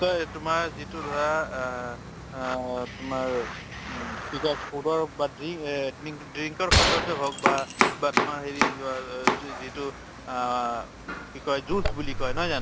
তোমাৰ যিটো ধৰা আহ আহ তোমাৰ কি কয় food ৰ বা দ্ৰি আহ দিং drink ৰ ক্ষেত্ৰতে হৌক বা তোমাৰ হেৰি যিটো আহ কি কয় juice বুলি কয় নহয় জানো?